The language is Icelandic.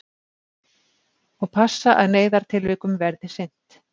Og passa að neyðartilvikum verði sinnt